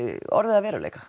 orðið að veruleika